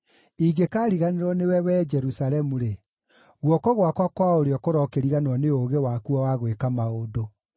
Ingĩkariganĩrwo nĩwe, Wee Jerusalemu-rĩ, guoko gwakwa kwa ũrĩo kũrokĩriganĩrwo nĩ ũũgĩ wakuo wa gwĩka maũndũ.